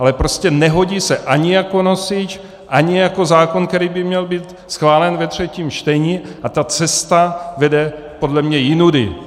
Ale prostě nehodí se ani jako nosič, ani jako zákon, který by měl být schválen ve třetím čtení, a ta cesta vede podle mě jinudy.